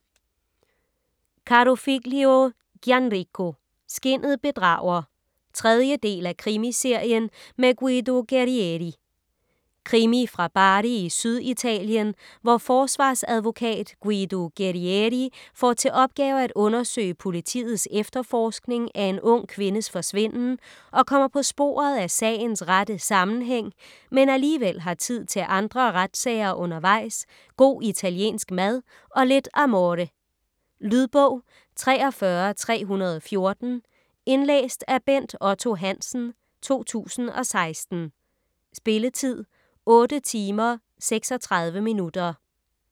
Carofiglio, Gianrico: Skinnet bedrager 3. del af Krimiserien med Guido Guerrieri. Krimi fra Bari i Syditalien, hvor forsvarsadvokat Guido Guerrieri får til opgave at undersøge politiets efterforskning af en ung kvindes forsvinden og kommer på sporet af sagens rette sammenhæng, men alligevel har tid til andre retssager undervejs, god italiensk mad og lidt amore. . Lydbog 43314 Indlæst af Bent Otto Hansen, 2016. Spilletid: 8 timer, 36 minutter.